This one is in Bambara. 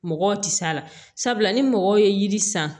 Mɔgɔw tɛ s'a la sabula ni mɔgɔw ye yiri san